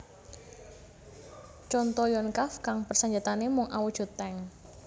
Conto Yonkav kang persenjataané mung awujud tank